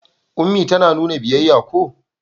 Ummi ta nuna biyayya ko?